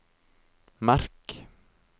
merk